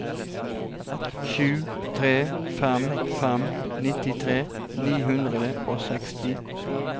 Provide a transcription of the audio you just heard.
sju tre fem fem nittitre ni hundre og seksti